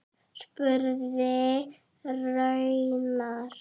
spurði Ragnar.